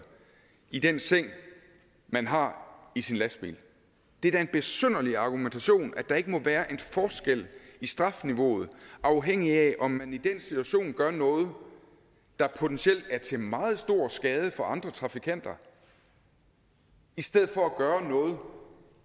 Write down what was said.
i den seng man har i sin lastbil det er da en besynderlig argumentation at der ikke må være en forskel i strafniveauet afhængigt af om man i den situation gør noget der potentielt er til meget stor skade for andre trafikanter i stedet for at gøre noget